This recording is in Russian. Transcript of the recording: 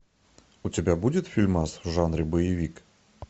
у тебя будет фильмас в жанре боевик